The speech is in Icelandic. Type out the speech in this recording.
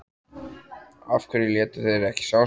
Af hverju létu þeir ekki sjá sig?